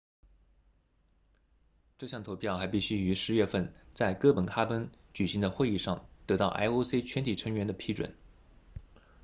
这项投票还必须于10月份在哥本哈根举行的会议上得到 ioc 全体成员的批准